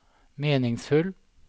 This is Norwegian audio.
meningsfull